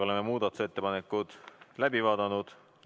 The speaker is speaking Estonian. Oleme muudatusettepanekud läbi vaadanud.